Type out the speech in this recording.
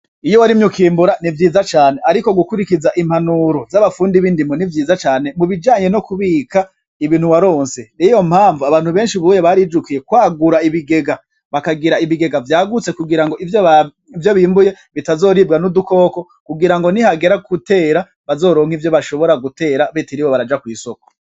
Iyo warimye ukimbura nivyiza cane, ariko gukuriza impanuro z'abafundi bindimo nivyiza cane ,kubijanye nokubika ibintu waronse niyompamvu abantu benshi ubuye barijukiye kwagura ibigega bakagira ibiga vyagutse kugirango ivyo bimbuye bitazoribwa n'udukoko kugirango nihagera gutera bazoronk'ivyo bashobora gutera batiriwe baraja kwisoko.